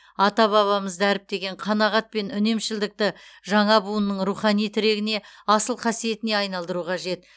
ата бабамыз дәріптеген қанағат пен үнемшілдікті жаңа буынның рухани тірегіне асыл қасиетіне айналдыру қажет